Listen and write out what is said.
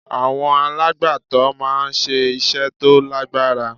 Àwọn alàgbàtó máa ń ṣe iṣẹ́ tó lágbára.